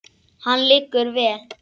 Hann liggur vel.